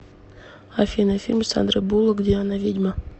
афина фильм с сандрой буллок где она ведьма